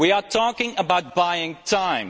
We are talking about buying time.